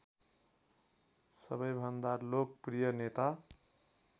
सबैभन्दा लोकप्रिय नेता